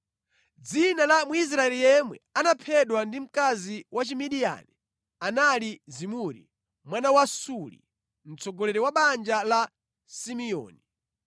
Dzina la Mwisraeli yemwe anaphedwa ndi mkazi wa Chimidiyani anali Zimuri mwana wa Salu, mtsogoleri wa banja la Simeoni.